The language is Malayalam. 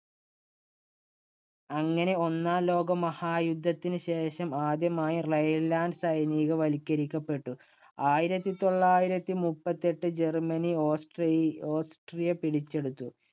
അങ്ങനെ ഒന്നാം ലോകമഹായുദ്ധത്തിനുശേഷം ആദ്യമായി Rhineland സൈനികവൽക്കരിക്കപ്പെട്ടു. ആയിരത്തി തൊള്ളായിരത്തി മുപ്പത്തിയെട്ട് ജർമ്മനി ഓസ്ട്രി~ഓസ്ട്രിയ പിടിച്ചെടുത്തു.